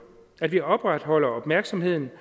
at vi opretholder opmærksomheden